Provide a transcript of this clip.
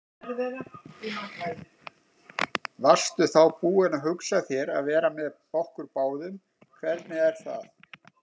Varstu þá búin að hugsa þér að vera með okkur báðum, hvernig er það?